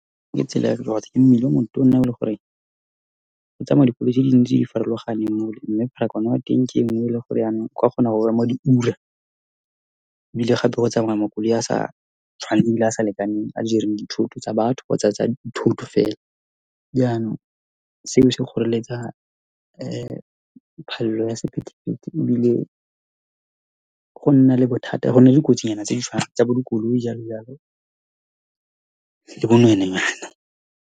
Ke tsela ke mmila o motona, o ele gore go tsamaya dikoloi tse di ntsi tse di farologaneng mole. Mme pharakano ya teng ke engwe, ele gore yanong o ka kgona go ema diura. Ebile gape go tsamaya makoloi a sa tshwaneng, le a sa lekaneng, a jereng dithuto tsa batho kgotsa tsa dithoto fela. Jaanong seo se kgoreletsa ya sephepethepele, ebile go nna le bothata gonna dikotsinyana tse di tsa bo dikoloi jalo-jalo le bo nwenwenyana.